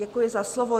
Děkuji za slovo.